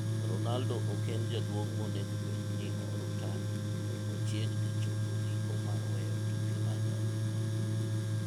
Ronaldo ok en jaduong' monego bed ni orutaya to ochiegni chopo giko mar weyo tuke mag adhula.